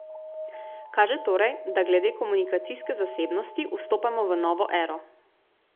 Kaže torej, da glede komunikacijske zasebnosti vstopamo v novo ero.